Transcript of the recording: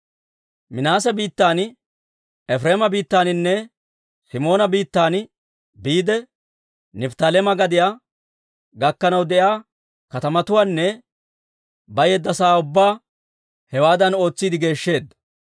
Minaase biittan, Efireema biittaaninne Simoona biittan, biide Nifttaaleema gadiyaa gakkanaw de'iyaa katamatuwaanne bayeedda sa'aa ubbaa hewaadan ootsiide geeshsheedda.